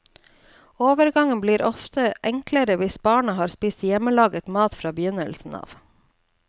Overgangen blir ofte enklere hvis barnet har spist hjemmelaget mat fra begynnelsen av.